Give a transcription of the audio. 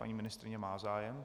Paní ministryně má zájem.